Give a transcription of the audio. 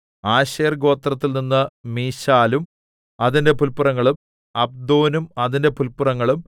Asher ഗോത്രത്തിൽനിന്ന് മിശാലും അതിന്റെ പുല്പുറങ്ങളും അബ്ദോനും അതിന്റെ പുല്പുറങ്ങളും